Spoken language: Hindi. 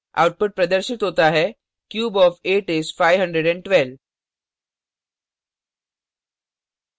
output प्रदर्शित होता है cube of 8 is 512